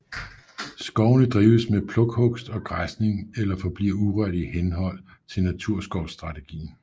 Skovene drives med plukhugst og græsning eller forbliver urørt i henhold til naturskovsstrategien